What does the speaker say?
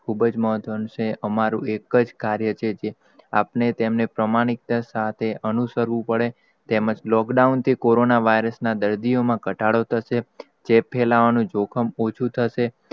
ખૂબ જ મહત્વ નું છે. અમારું એક જ કાર્ય છે જે આપને પ્રમાણિકતા સાથે અનુસ કરવુ પડે, તેમજ lockdown થી કોરોના vrius ના દર્દી માં, ઘટાડો થશે તે ફેલાવાનુ જોખમ ઓછું થશે,